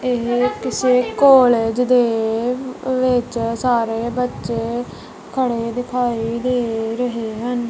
ਇਹ ਕਿਸੇ ਕਾਲਜ ਦੇ ਵਿੱਚ ਸਾਰੇ ਬੱਚੇ ਖੜੇ ਦਿਖਾਈ ਦੇ ਰਹੇ ਹਨ